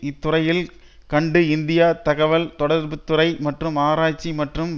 இத்துறையில் கண்டு இந்தியா தகவல் தொடர்பு துறை மற்றும் ஆராய்ச்சி மற்றும்